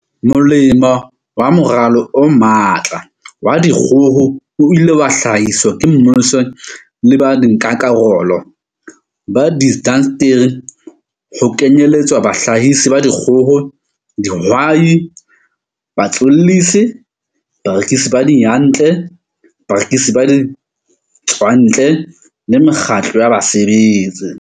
Molemo wa moralo o matla wa dikgoho, o ileng wa hlahiswa ke mmuso le ba nkakarolo ba diindasteri, ho kenyeletswa bahlahisi ba dikgoho, dihwai, batswellisi, barekisi ba diyantle, barekisi ba ditswantle le mekgatlo ya basebetsi.